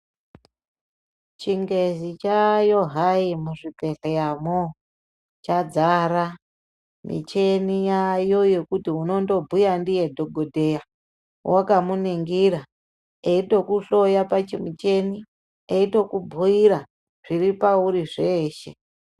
Chingezi chaayo hai muzvibhedhleramo. Chadzara, micheni yaamo yekuti, unondobhuya ndiye dhogodheya wakamuningira, eitokuhloya pachimucheni, eitokubhuyira zviripauri zveshe.